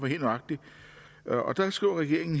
helt nøjagtig der skriver regeringen